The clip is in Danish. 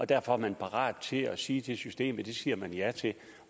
derfor er man parat til at sige til systemet at det siger man ja til og